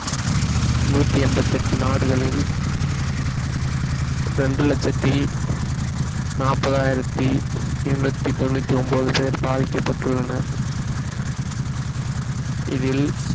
நூத்தி எண்பத்தி எட்டு நாடுகளில் இரண்டு லட்சத்தி நாற்பதாயிரத்தி எண்ணூத்தி தொண்ணூத்தி ஒன்பது பேர் பாதிக்கப்பட்டுள்ளனர் இதில்